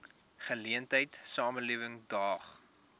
geleentheid samelewing daag